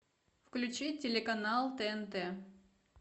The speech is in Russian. включи телеканал тнт